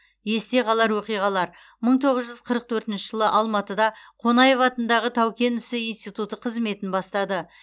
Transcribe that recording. есте қалар оқиғалар мың тоғыз жүз қырық төртінші жылы алматыда қонаев атындағы тау кен ісі институты қызметін бастады